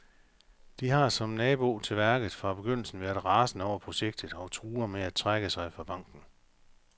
De har, som nabo til værket, fra begyndelsen været rasende over projektet og truer med at trække sig fra banken.